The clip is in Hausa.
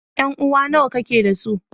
Yanuwa nawa kike da su?